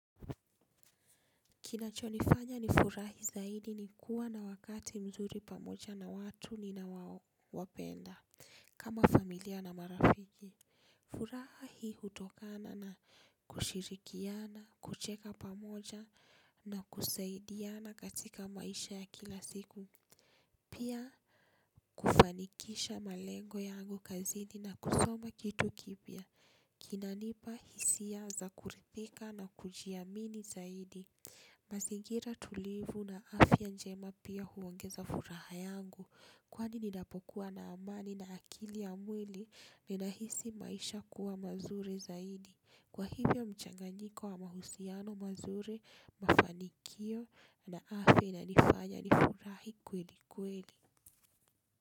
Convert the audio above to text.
Kinachonifanya nifurahi zaidi ni kuwa na wakati mzuri pamoja na watu ninaowapenda. Kama familia na marafiki. Furaha hii hutokana na kushirikiana, kucheka pamoja na kusaidiana katika maisha ya kila siku. Pia kufanikisha malengo yangu kazini na kusoma kitu kipya. Kinanipa hisia za kuridhika na kujiamini zaidi. Mazingira tulivu na afya njema pia huongeza furaha yangu kwani ninapokuwa na amani na akili ya mwili ninahisi maisha kuwa mazuri zaidi kwa hivyo mchanganyiko wa mahusiano mazuri mafanikio na afya inanifanya nifurahi kwelikweli.